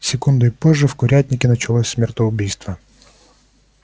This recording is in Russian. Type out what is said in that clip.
секундой позже в курятнике началось смертоубийство